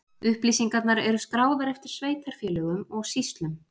Upplýsingarnar eru skráðar eftir sveitarfélögum og sýslum.